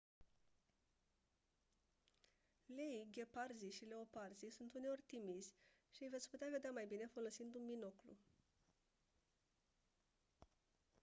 leii gheparzii și leoparzii sunt uneori timizi și îi veți putea vedea mai bine folosind un binoclu